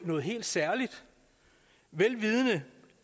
noget helt særligt vel vidende